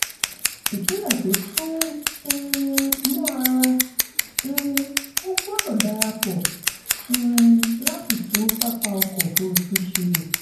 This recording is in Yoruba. ìpínlẹ̀ tó sún um mọ́ ara um wọn gbọ́dọ̀ darapọ̀ um láti tun pápá ọkọ̀ òfurufú ṣe.